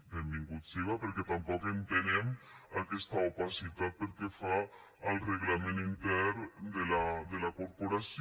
benvingut siga perquè tampoc entenem aquesta opacitat pel que fa al reglament intern de la corporació